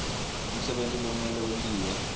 umsebenti lomele wentiwe